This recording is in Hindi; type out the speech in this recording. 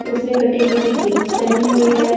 उसने कटी फटी जींस पहनी हुई है।